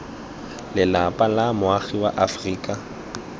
lelapa la moagi wa aforika